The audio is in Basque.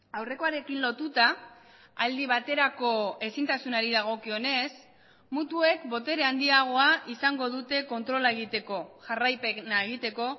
aurrekoarekin lotuta aldi baterako ezintasunari dagokionez mutuek botere handiagoa izango dute kontrola egiteko jarraipena egiteko